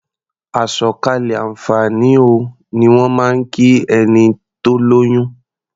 "Àsọ̀kalẹ̀ àǹfààní o" ni wọ́n máa ń kí ẹni tó lóyún.